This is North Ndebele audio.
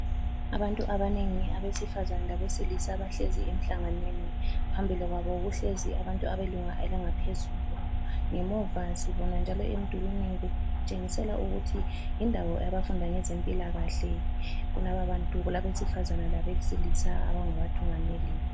Abantu abanengi abesifazane labesilisa bahlezi emhlanganweni. Phambili kwabo kuhlezi abantu abelunga elingaphezulu ngemuva sibona njalo emdulini kutshengisela ukuthi yindawo yabafunda ngezempilakahle, kulababantu kulabesifazane labesilisa abangabathungameli..